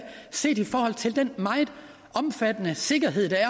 set i forhold til den meget omfattende sikkerhed der er